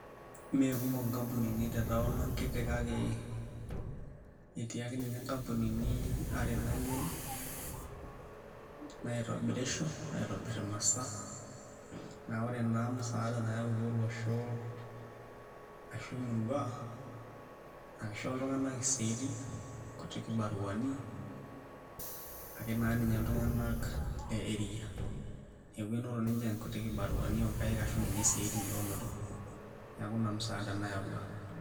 Meekumok nkampunini te taon ang' kiti kake etii ake ninye nkampunini are nayiolo naitobirisho aitobirr imasaa naa ore naa musaada nayautua olosho ashu emurua naa kishoo iltung'anak isiaitin, nkuti kibaruani ake naa ninye iltung'anak le area neeku enoto ninche nkuti kibaruani oonkaik ashu ninye isiaitin toloonoto neeku ina musaada nayaua.